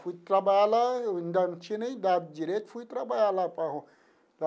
Fui trabalhar lá, ainda não tinha nem dado direito, fui trabalhar lá para o.